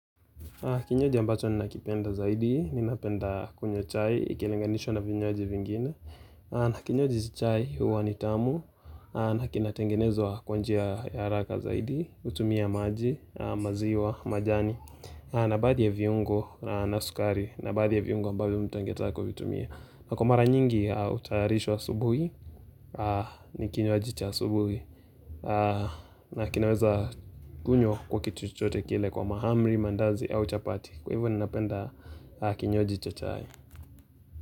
Kinywaji ambacho ninakipenda zaidi, ninapenda kunywa chai, ikilinganishwa na vinywaji vingine kinywaji cha chai huwa ni tamu, na kinatengenezwa kwa njia ya haraka zaidi, hutumia maji, maziwa, majani na baadhi ya viungo na sukari, na baadhi ya viungo ambavyo mtu angetaka kutumia na kwa mara nyingi hutayarishwa asubuhi, ni kinywaji cha asubuhi na kinaweza kunywa kwa kitu chochote kile kwa mahamri mandazi au chapati Kwa hivyo ninapenda kinywaji cha chai.